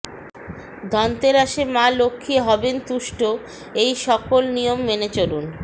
ধনতেরাসে মা লক্ষ্মী হবেন তুষ্ট এই সকল নিয়ম মেনে চলুন